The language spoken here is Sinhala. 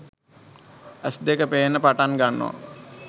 ඇස් දෙක පේන්න පටන් ගන්නවා